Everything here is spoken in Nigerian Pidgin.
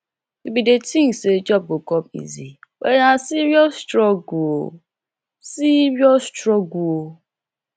we bin dey tink sey job go come easy but na serious struggle o serious struggle o